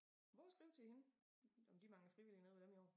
Prøv at skriv til hende om de mangler frivillige nede ved dem i år